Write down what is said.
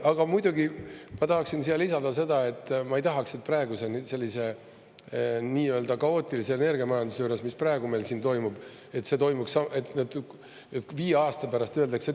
" Aga muidugi ma tahaksin siia lisada seda, et ma ei tahaks, et praeguse sellise kaootilise energiamajanduse juures, mis meil siin toimub, oleks nii, et viie aasta pärast öeldakse.